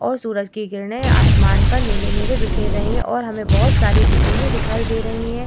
और सूरज की किरणे आसमान पर नीले-नीले बिखेर रही है और हमें बहुत सारी बिल्डिंगे दिखाई दे रही है ।